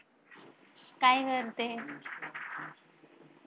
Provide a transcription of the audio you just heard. काय करते?